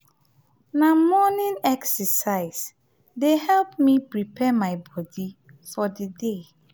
na morning excercise dey help me prepare my bodi for di day.